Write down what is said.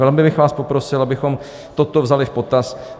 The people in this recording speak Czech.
Velmi bych vás poprosil, abychom toto vzali v potaz.